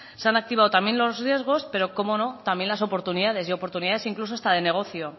se han activado también los riesgos pero cómo no también las oportunidades y oportunidades también de negocio